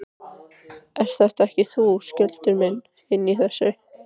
Ert þetta ekki þú, Skjöldur minn, inni í þessu?